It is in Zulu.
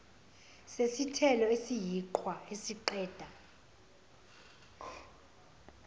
sesithelo esiyiqhwa isiqeda